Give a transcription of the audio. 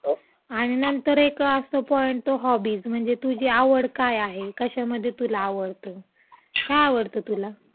हो, आणि नंतर एक असा पॉइंट - हॉबीज. म्हणजे तुझी आवड काय आहे. कशामध्ये तुला आवडतं? काय आवडतं तुला?